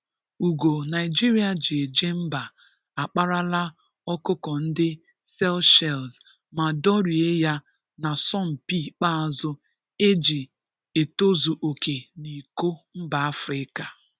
Ụgo Naịjirịa ji eje mba akparala ọkụkọ ndị Sychelles ma dọrie ya n'asọmpị ikpeazụ eji etozu oke n'Iko mba Afrịka.